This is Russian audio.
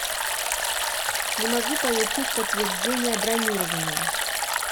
не могу получить подтверждение бронирования